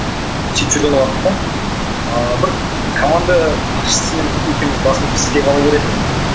сөйтіп жүрген уақытта ыыы бір команда басшысымен екеуіміз басымыз піспей қала беретін енді